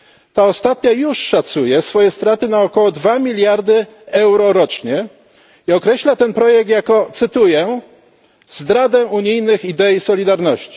Ta ostatnia już szacuje swoje straty na około 2 mld euro rocznie i określa ten projekt jako, cytuję zdradę unijnych idei solidarności.